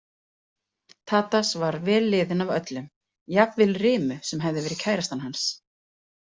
Tadas var vel liðinn af öllum, jafnvel Rimu sem hafði verið kærastan hans.